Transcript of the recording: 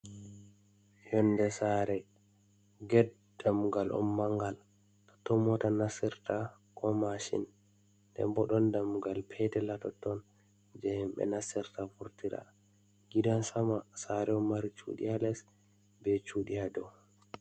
Yonde sare get, dammugal on mangal, totton mota nasirta ko mashin. nden bo ɗon dammugal petel ha totton je himbe nastirta vurtira. gidan sama sare on mari cuɗi a les be cuɗi hadow.